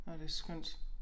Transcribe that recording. Åh det skønt